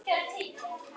Þriðja ríkið.